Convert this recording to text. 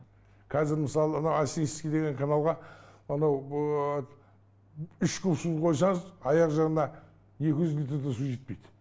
қазір мысалы ана осинский деген каналға анау үш куб су құйсаңыз аяқ жағына екі жүз литр де су жетпейді